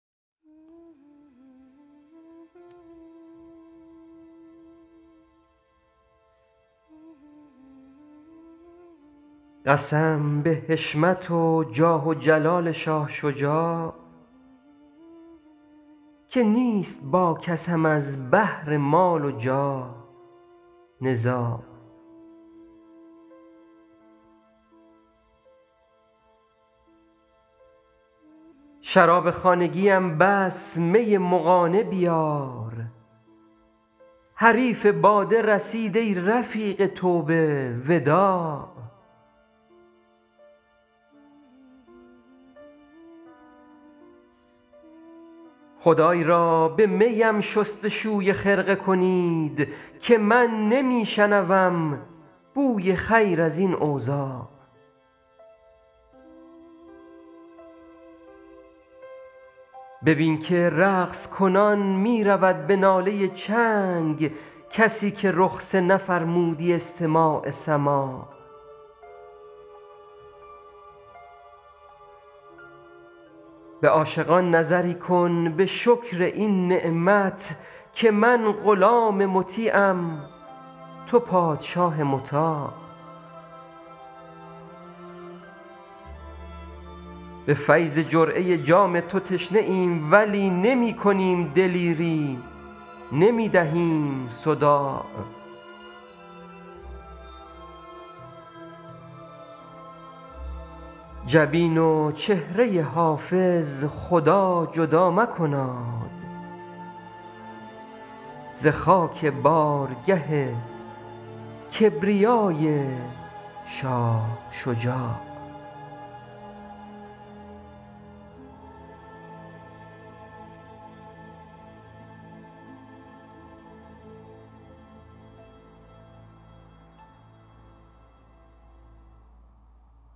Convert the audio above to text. قسم به حشمت و جاه و جلال شاه شجاع که نیست با کسم از بهر مال و جاه نزاع شراب خانگیم بس می مغانه بیار حریف باده رسید ای رفیق توبه وداع خدای را به می ام شست و شوی خرقه کنید که من نمی شنوم بوی خیر از این اوضاع ببین که رقص کنان می رود به ناله چنگ کسی که رخصه نفرمودی استماع سماع به عاشقان نظری کن به شکر این نعمت که من غلام مطیعم تو پادشاه مطاع به فیض جرعه جام تو تشنه ایم ولی نمی کنیم دلیری نمی دهیم صداع جبین و چهره حافظ خدا جدا مکناد ز خاک بارگه کبریای شاه شجاع